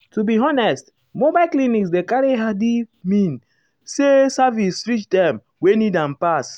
to be honest mobile clinics dey carry healthi mean say services reach dem wey need am pass.